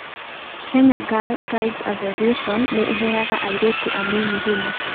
Kenya Girl Guides Association nĩ ĩheaga airĩtu anini hinya.